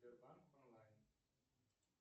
сбербанк онлайн